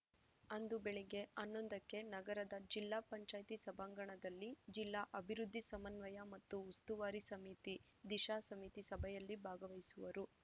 ಅಂದು ಬೆಳಿಗ್ಗೆ ಹನ್ನೊಂದಕ್ಕೆ ನಗರದ ಜಿಪಂ ಸಭಾಂಗಣದಲ್ಲಿ ಜಿಲ್ಲಾ ಅಭಿವೃದ್ಧಿ ಸಮನ್ವಯ ಮತ್ತು ಉಸ್ತುವಾರಿ ಸಮಿತಿದಿಶಾ ಸಮಿತಿಸಭೆಯಲ್ಲಿ ಭಾಗವಹಿಸುವರು